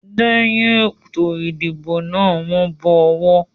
Lẹ́yin ètò ìdìbò náà, wọ́n bọ ọwọ́.